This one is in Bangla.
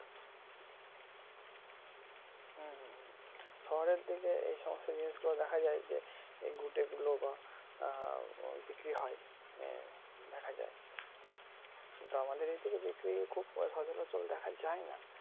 হম হম হম শহরের দিকে এই সমস্ত জিনিস গুলো দেখা যায় যে ঘুটে গুলো বা বিক্রি হয় দেখা যায় । কিন্তু আমাদের এইদিকে বিক্রি খুব সচরাচর দেখা যায় নাহ